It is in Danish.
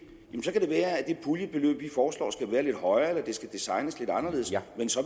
puljebeløb vi foreslår skal være lidt højere eller designes lidt anderledes